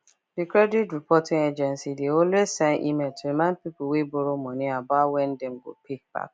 the credit reporting agency de always send email to remind people wey borrow money about when dem go pay back